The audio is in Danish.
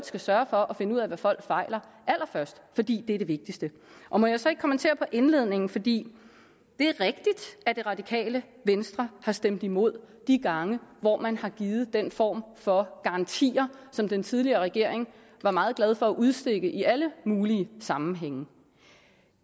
skal sørge for at finde ud af hvad folk fejler fordi det er det vigtigste må jeg så ikke kommentere på indledningen fordi det er rigtigt at det radikale venstre har stemt imod de gange hvor man har givet den form for garantier som den tidligere regering var meget glad for at udstikke i alle mulige sammenhænge